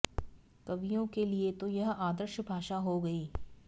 कवियों के लिए तो यह आदर्श भाषा हो गई